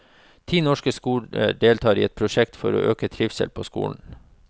Ti norske skoler deltar i et prosjekt for å øke trivselen på skolen.